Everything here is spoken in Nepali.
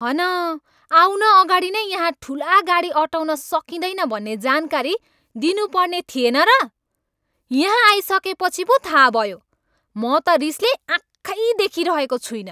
हन आउन अगाडि नै यहाँ ठुला गाडी अँटाउन सकिँदैन भन्ने जानकारी दिनुपर्ने थिएन र? यहाँ आइसकेपछि पो थाहा भयो। म त रिसले आँखै देखिरहेको छुइनँ।